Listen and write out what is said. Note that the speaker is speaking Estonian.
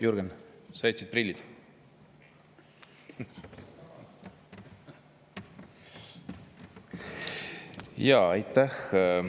Jürgen, sa jätsid prillid siia.